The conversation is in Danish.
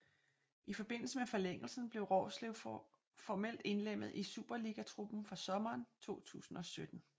I forbindelse med forlængelsen blev Roerslev formelt indlemmet i superligatruppen fra sommeren 2017